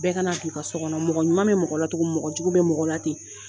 Bɛɛ ka na don i ka so kɔnɔ mɔgɔ ɲuman bɛ mɔgɔlatogo min mɔgɔjugu bɛ mɔgɔlate.